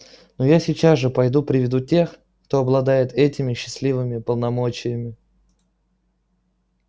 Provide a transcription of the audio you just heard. но я сейчас же пойду приведу тех кто обладает этими счастливыми полномочиями